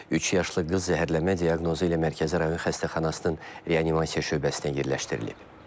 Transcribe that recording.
Üç yaşlı qız zəhərlənmə diaqnozu ilə Mərkəzi rayon xəstəxanasının reanimasiya şöbəsinə yerləşdirilib.